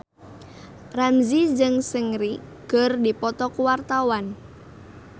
Ramzy jeung Seungri keur dipoto ku wartawan